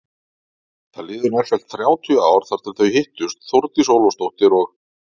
Það liðu nærfellt þrjátíu ár þar til þau hittust Þórdís Ólafsdóttir og